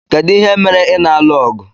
Kedu ihe mere ị na-alụ ọgụ?